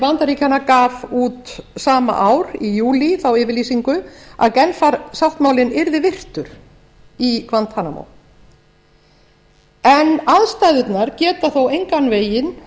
bandaríkjanna gaf út sama ár í júlí þá yfirlýsingu að genfarsáttmálinn yrði virtur í guantanamo en aðstæðurnar geta þó engan veginn